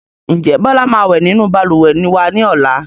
Ǹjẹ́ Bọlá máa wẹ nínú Balùwẹ̀ wa ni ọ̀la?